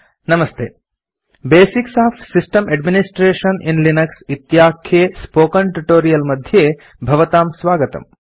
नमस्ते basics of system administration in Linux इत्याख्ये spoken tutorial मध्ये भवतां स्वागतम्